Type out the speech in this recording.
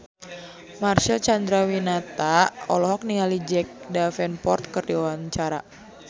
Marcel Chandrawinata olohok ningali Jack Davenport keur diwawancara